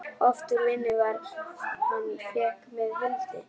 Oft úr vinnu far hann fékk með Hildi.